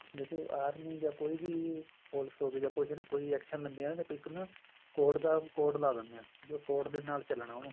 ਦੇਖੋ ਆਰਮੀ ਜਾਂ ਕੋਈ ਵੀ ਪੁਲਸ ਹੋਗੀ ਜਾਂ ਕੁੱਝ ਨਾ ਕੋਈ action ਲੈਂਦੀ ਹੈ ਇੱਕ ਨਾ code ਦਾ code ਲਾ ਦਿਨੇ ਆ ਜੋ code ਦੇ ਨਾਲ ਚੱਲਣਾ ਉਹਨੂੰ